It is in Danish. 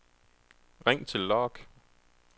ring til log